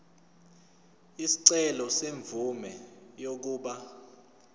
isicelo semvume yokuba